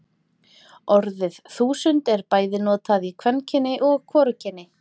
Orðið þúsund er bæði notað í kvenkyni og hvorugkyni.